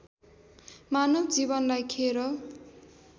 मानव जीवनलाई खेर